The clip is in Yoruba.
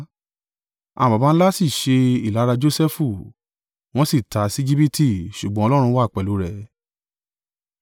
“Àwọn baba ńlá sí ṣe ìlara Josẹfu, wọ́n sì tà á sí Ejibiti; ṣùgbọ́n Ọlọ́run wà pẹ̀lú rẹ̀,